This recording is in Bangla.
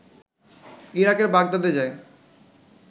ইরাকের বাগদাদে যায়